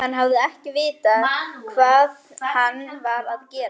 Hann hafi ekki vitað hvað hann var að gera.